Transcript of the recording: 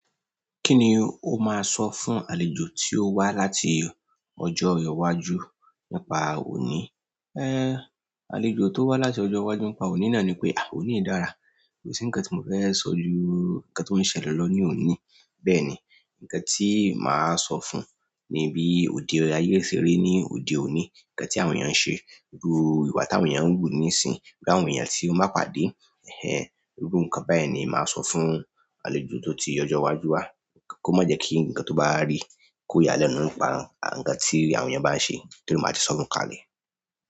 Kí ni o máa sọ fún àlejò tí o wá láti ọjọ́ iwájú nípa òní? Àlejò tó wá láti ọjọ́ iwájú nípa òní náà ni pé, òní dára. Kò sí nǹkan tí mo fẹ́ sọ ju nǹkan tó ń ṣẹlẹ̀ lọ ní òní. Bẹ́ẹ̀ ni, nǹkan tí màá sọ fún un ni bí òde ayé ṣe rí ní òde òní, nǹkan tí àwọn èèyàn ń ṣe, irú ìwà tí àwọn èèyàn ń hù níìsín, bí àwọn èèyàn tí ó bá pàdé, irú nǹkan bẹ́ẹ̀ ni màá n sọ fún àlejò tó ti ọjọ́ iwájú wá. Kò má jẹ kí nǹkan tó bá rí kó yálẹ̀ nínú ipa nǹkan tí àwọn èèyàn bá ń ṣe tóri ma ti sọ fún un kalẹ̀.